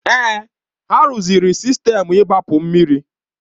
Èè, ha rụziri sistemu igbapu mmiri.